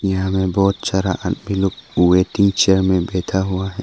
यहां में बहुत सारा आदमी लोग वेटिंग चेयर में बैठा हुआ है।